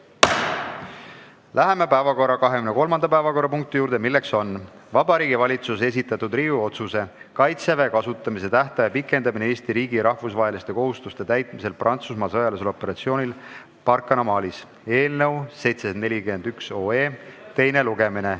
Läheme 23. päevakorrapunkti juurde, milleks on Vabariigi Valitsuse esitatud Riigikogu otsuse "Kaitseväe kasutamise tähtaja pikendamine Eesti riigi rahvusvaheliste kohustuste täitmisel Prantsusmaa sõjalisel operatsioonil Barkhane Malis" eelnõu teine lugemine.